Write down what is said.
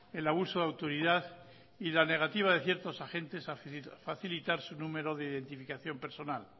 el abuso de autoridad y la negativa de ciertos agentes a facilitar su número de identificación personal